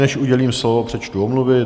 Než udělím slovo, přečtu omluvy.